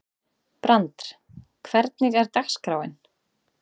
Brandr, hvernig er dagskráin?